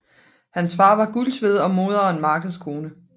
Hans far var guldsmed og moderen markedskone